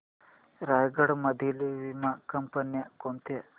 रायगड मधील वीमा कंपन्या कोणत्या